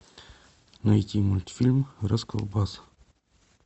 найти мультфильм расколбас